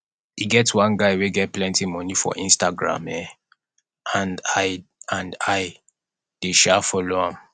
e get one guy wey get plenty money for instagram um and i and i dey um follow am